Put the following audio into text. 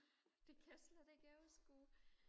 det kan jeg slet ikke overskue